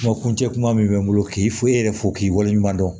Kuma kuncɛ kuma min bɛ n bolo k'i fo e yɛrɛ fo k'i waleɲuman dɔn